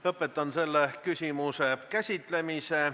Lõpetan selle küsimuse käsitlemise.